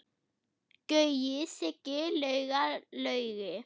Gaui, Siggi, Lauga, Laugi.